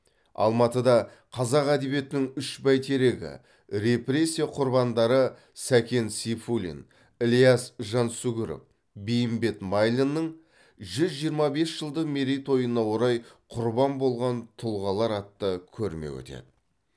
алматыда қазақ әдебиетінің үш бәйтерегі репрессия құрбандары сәкен сейфуллин ілияс жансүгіров бейімбет майлиннің жүз жиырма бес жылды мерейтойына орай құрбан болған тұлғалар атты көрме өтеді